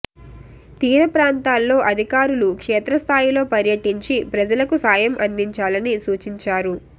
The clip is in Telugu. తీర ప్రాంతాల్లో అధికారులు క్షేత్రస్థాయిలో పర్యటించి ప్రజలకు సాయం అందించాలని సూచించారు